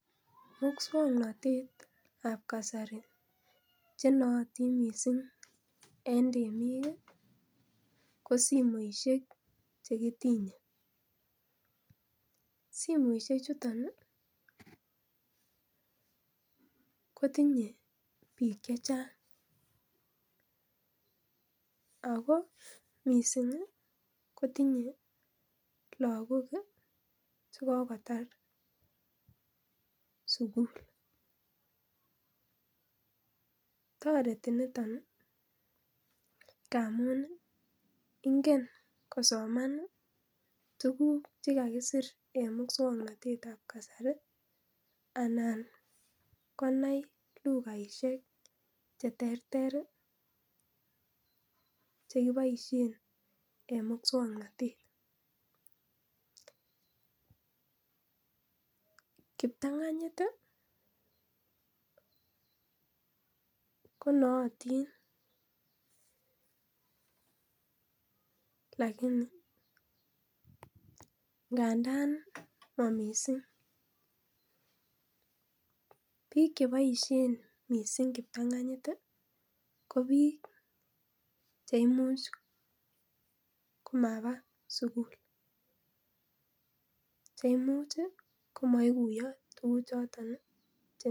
Muswoknotetab kasari chenootin missing en temik ko simoisiek chekitinyee, simoisiechuton ii kotinye biik chechang akoo missing kotinyee lagok chekokotar sugul toreti niton ii ngamun ingen kosoman tuguk chekakisir en muswoknotetab kasari anan konai lukaisiek cheterter chekiboisien en muswoknotet kiptanganyit ii konootin lakini ngandan mamissing, biik cheboisien missing kiptang'anyit ii kobiik cheimuch komabaa sugul cheimuch ii komoikuiyo tuguchoton ii.